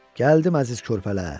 Gəldim əziz körpələr.